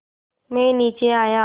मैं नीचे आया